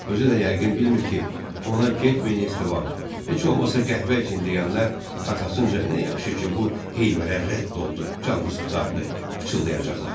Özü də yəqin bilmir ki, ona "Getməyin, Estaban, heç olmasa qəhvə üçün" deyənlər arxasınca "Nə yaxşı ki, bu heyvərə rədd oldu, canımız qurtardı" pıçıldayacaqlar.